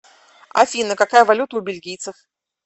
афина какая валюта у бельгийцев